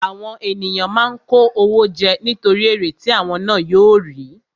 Àwọn ènìyàn máa ń kó owó jẹ nítorí èrè tí àwọn ná yóò rí.